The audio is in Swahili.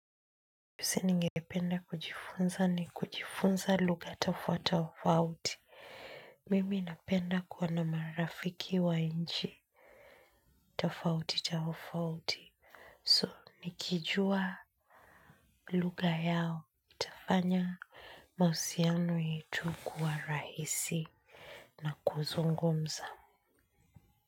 Kitu ningependa kujifunza ni kujifunza lugha tofauti tofauti. Mimi napenda kuwa na marafiki wa nchi tofauti tofauti. So, nikijua lugha yao. Itafanya mahusiano yetu kuwa rahisi na kuzungumza.